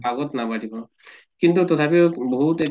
আগত নাবাঢ়িব। কিন্তু তথাপিও বহুত